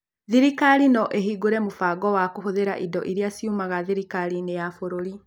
Thirikari no ĩhingũre mũbango wa kũhũthĩra indo iria ciumaga thirikari-inĩ ya bũrũri.